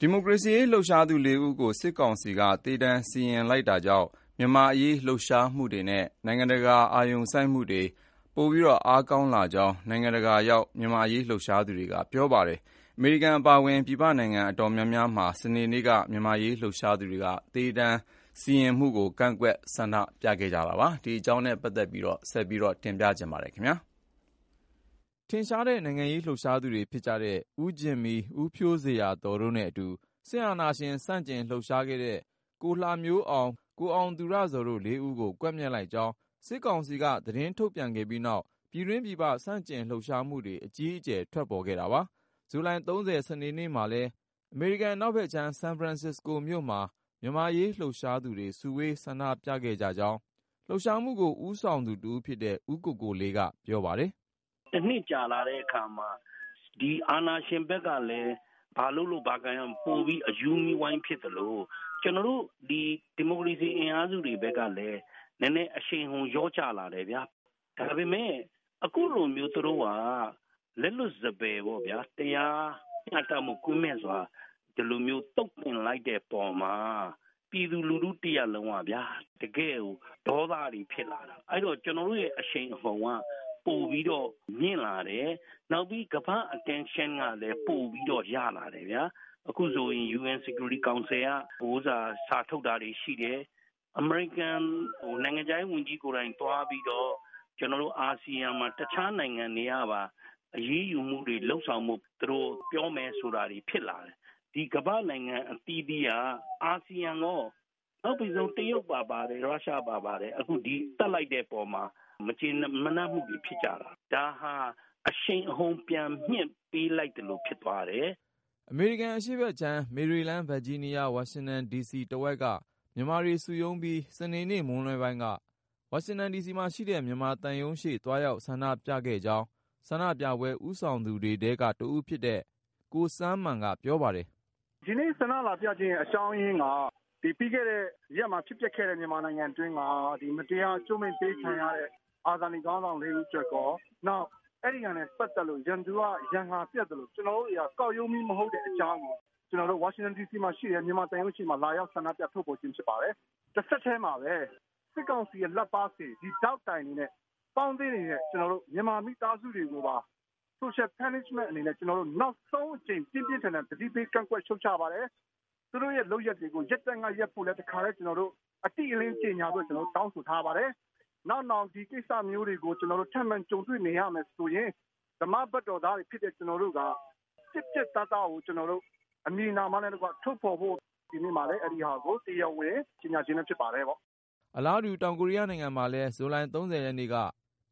ဒီမိုကရေစီရေး လှုပ်ရှားသူ ဦးကို စစ်ကောင်စီက သေဒဏ်စီရင်လိုက်တာကြောင့် မြန်မာ့အရေး လှုပ်ရှားမှုတွေနဲ့ နိုင်ငံတကာ အာရုံစိုက်မှုတွေ အားကောင်းလာကြောင်း နိုင်ငံတကာရောက် မြန်မာ့အရေးလှုပ်ရှားသူတွေက ပြောပါတယ်။ အမေရိကန် အပါအဝင် ပြည်ပနိုင်ငံ တော်တော်များများမှာလည်း စနေနေ့က မြန်မာ့အရေး လှုပ်ရှားသူတွေ သေဒဏ်စီရင်မှုကို ကန့်ကွက်ဆန္ဒပြခဲ့ကြတာပါ။ ကိုဉာဏ်ဝင်းအောင်က စုစည်း တင်ပြထားပါတယ်။ ထင်ရှားတဲ့ နိုင်ငံရေးလှုပ်ရှားသူတွေဖြစ်တဲ့ ဦးဂျင်မီ ၊ ဦးဖြိုးဇေယျာသော်တို့နဲ့အတူ စစ်အာဏာရှင် ဆန့်ကျင်လှုပ်ရှားခဲ့တဲ့ ကိုလှမျိုးအောင်၊ ကိုအောင်သူရဇော်တို့ ဦးကို ကွပ်မျက်လိုက်ကြောင်း စစ်ကောင်စီက သတင်းထုတ်ပြန်လိုက်တဲ့ပြီးနောက် ပြည်တွင်း ပြည်ပ ဆန့်ကျင်လှုပ်ရှားမှုတွေ အကြီးအကျယ် ထွက်ပေါ်ခဲ့တာပါ။ ဇူလိုင် စနေနေ့မှာလည်း အမေရိကန် အနောက်ဖက်ခြမ်း ဆန်ဖရန်စ္စကိုမြို့မှာ မြန်မာ့အရေးလှုပ်ရှားသူတွေ စုဝေးဆန္ဒပြခဲ့ကြကြောင်း လှုပ်ရှားမှုကို ဦးဆောင်သူ တဦးဖြစ်တဲ့ ဦးကိုကိုလေးက ပြောပြပါတယ်။ " တနှစ်ကျော် ကြာလာချိန်မှာ အာဏာရှင်ဖက်ကလည်း ဘာလုပ်လို့ ဘာကိုင်ရမှန်းမသိနဲ့ ပိုပြီး အရူးမီးဝိုင်းဖြစ်သလို၊ ကျနော်တို့ ဒီမိုကရေစီ အင်အားစုတွေဖက်ကလည်း နည်းနည်း အရှိန်ဟုန်လျော့ကျလာတယ်ဗျာ။ ဒါပေမဲ့ အခုလိုမျိုး သူတို့က လက်လွတ်စပယ်ပေ့ါဗျာ တရားမျှတမှု ကင်းမဲ့စွာ ဒီလိုမျိုး သုတ်သင်လိုက်တဲ့အပေါ်မှာ ပြည်သူလူထု တရပ်လုံးကလည်း တကယ့်ကို ဒေါသတွေဖြစ်လာတာ။ အဲဒီတော့ ကျနော်တို့ရဲ့ အရှိန်အဟုတ်က ပိုပြီးတော့မြင့်လာတယ်။ နောက်ပြီး ကမ္ဘာ့အာရုံစိုက်မှုကလည်း ပိုပြီးတော့ ရလာတယ်။ အခုဆိုရင် ကုလ လုံခြုံရေးကောင်စီက စာထုတ်တာတွေရှိတယ်။ အမေရိကန် နိုင်ငံခြားရေးဝန်ကြီးကိုယ်တိုင် သွားပြီးတော့ အာဆီယံမှာ တခြားနိုင်ငံတွေကပါ အရေးယူမှုတွေ လုပ်ဆောင်ဖို့ သူတို့ပြောမယ်ဆိုတာတွေ ဖြစ်လာတယ်။ ဒီ ကမ္ဘာ့နိုင်ငံ အသီးသီးက အာဆီယံရော.. နောက်ပိတ်ဆုံး တရုတ်၊ ရုရှားပါ ဒီသတ်လိုက်တဲ့အပေါ်မှာ မကြေမနပ်မှုတွေ ဖြစ်လာကြတာ။ ဒါဟာ အရှိန်အဟုတ် ပြန်မြှင့်ပေးလိုက်သလို ဖြစ်ပါတယ်။ " အမေရိကန်အရှေ့ဖက်ခြမ်း မေရီလန်း၊ ဗာဂျီးနီးယား၊ ဝါရှင်တန်ဒီစီတဝိုက်က မြန်မာတွေစုရုံးပြီး စနေနေ့ မွန်းလွဲပိုင်းက ဝါရှင်တန်ဒီစီမှာရှိတဲ့ မြန်မာသံရုံးရှေ့ သွားရောက်ဆန္ဒပြခဲ့ကြောင်း ဆန္ဒပြပွဲ ဦးဆောင်သူတွေထဲက တဦးဖြစ်တဲ့ ကိုစန်းမန်က ပြောပါတယ်။ " ဒီနေ့ ဆန္ဒလာပြရတဲ့အကြောင်းက - ပြီးခဲ့တဲ့ရက် ဖြစ်ပျက်ခဲ့တဲ့ မြန်မာနိုင်ငံတွင်းမှာ မတရားကြိုးမိန့်ပေး ခံရတဲ့ အာဇာနည်ခေါင်းဆောင် ဦးအတွက်ရော၊ အဲဒါနဲ့ပတ်သက်လို့ ရန်သူက ရန်ငါပြတ်သလို ကျနော်တို့တွေဟာလည်း ကောက်ရိုးမီး မဟုတ်တဲ့အကြောင်းကို ဝါရှင်တန်ဒီစီမှာရှိတဲ့ မြန်မာသံရုံးရှေ့မှာ လာရောက် ဆန္ဒပြ ထုတ်ဖေါ်ခြင်း ဖြစ်ပါတယ်။ တဆက်ထဲမှာပဲ စစ်ကောင်စီရဲ့ လက်ပါးစေဒေါက်တိုင်တွေနဲ့ ပေါင်းသင်းနေတဲ့ မြန်မာမိသားစုတွေကိုပါ Social Punishment အနေနဲ့ ကျနော်တို့ နောက်ဆုံးအကြိမ် ပြင်းပြင်းထန်ထန် သတိပေးကန့်ကွက် ရှုတ်ချပါတယ်။ သူတို့ရဲ့လုပ်ရပ်တွေ ရပ်တန့်ကရပ်ဖို့ကိုလည်း တခါတည်း ကျနော်တို့ အတိအလင်း သတိပေး ကြေညာထားပါမယ်။ နောက်နောင် ဒီလိုကိစ္စတွေ ထပ်မံကြုံတွေ့ နေရမယ်ဆိုရင် ဓမ္မဘက်တော်သားတွေဖြစ်တဲ့ ကျနော်တို့က အမည်နာမနဲ့တကွ ပြတ်ပြတ်သားသား ထုတ်ဖေါ်သွားမယ်ဆိုတာ ဒီနေ့မှာ တရားဝင် ကြေညာခြင်း ဖြစ်ပါတယ်။" အလားတူ တောင်ကိုရီးယားနိုင်ငံမှာလည်း ဇူလိုင် ရက်နေ့က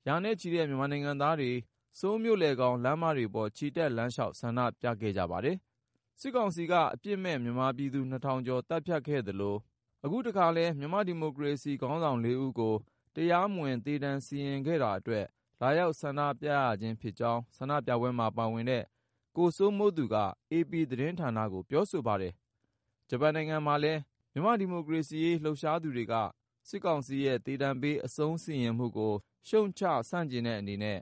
ရာနဲ့ချီတဲ့ မြန်မာနိုင်ငံသားတွေ ဆိုးလ်မြို့လယ်ခေါင် လမ်းမတွေပေါ် ချီတက်လမ်းလျှောက် ဆန္ဒပြကြပါတယ်။ စစ်ကောင်စီက အပြစ်မဲ့ မြန်မာပြည်သူ ထောင်ကျော် သတ်ဖြတ်ခဲ့ရသလို၊ အခုတခါလည်း မြန်မာ့ဒီမိုကရေစီ ခေါင်းဆောင် ၄ ဦးကို တရားမဝင် သေဒဏ်စီရင်ခဲ့တာအတွက် လာရောက်ဆန္ဒပြကြခြင်းဖြစ်ကြောင်း ဆန္ဒပြပွဲမှာပါတဲ့ ကိုစိုးမိုးသူက AP သတင်းဌာနကို ပြောဆိုပါတယ်။ ဂျပန်နိုင်ငံမှာလည်း မြန်မာ့ဒီမိုကရေစီရေးလှုပ်ရှားသူတွေက စစ်ကောင်စီရဲ့ သေဒဏ်ပေး အဆုံးစီရင်မှုကို ရှုတ်ချဆန့်ကျင်တဲ့အနေနဲ့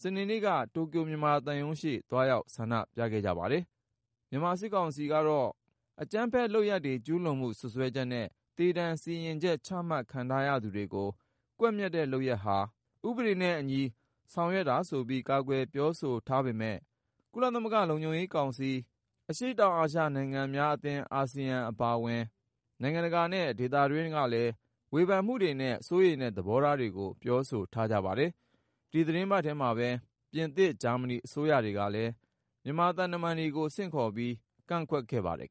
စနေနေ့က တိုကျိုမြန်မာသံရုံးရှေ့ သွားရောက်ဆန္ဒပြခဲ့ကြပါတယ်။ မြန်မာစစ်ကောင်စီကတော့ အကြမ်းဖက်လုပ်ရပ်တွေ ကျုးလွန်မှု စွပ်စွဲချက်နဲ့ သေဒဏ်စီရင်ချက် ချမှတ်ခံထားရသူတွေကို ကွပ်မျက်တဲ့ လုပ်ရပ်ဟာ ဥပဒေနဲ့အညီ ဆောင်ရွက်တာဆိုပြီး ကာကွယ်ပြောဆိုထားပေမဲ့ ကုလသမဂ္ဂလုံခြုံရေးကောင်စီ၊ အရှေ့တောင်အာရှ နိုင်ငံများအသင်း အာဆီယံ အပါအဝင် နိုင်ငံတကာနဲ့ ဒေသတွင်းကလည်း ဝေဖန်မှုတွေနဲ့ စိုးရိမ်တဲ့ သဘောထားတွေကို ပြောဆိုထားကြပါတယ်။ ဒီသီတင်းပတ်ထဲမှာပဲ ပြင်သစ်၊ ဂျာမနီအစိုးရတွေကလည်း မြန်မာသံတမန်တွေကို ဆင့်ခေါ်ပြီး ကန့်ကွက်ခဲ့ကြပါတယ်